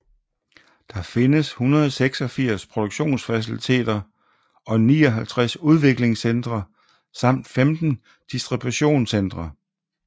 Der findes 186 produktionsfaciliteter og 59 udviklingscentre samt 15 distributionscentre